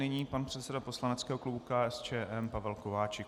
Nyní pan předseda poslaneckého klubu KSČM Pavel Kováčik.